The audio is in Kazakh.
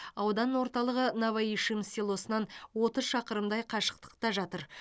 аудан орталығы новоишим селосынан отыз шақырымдай қашықтықта жатыр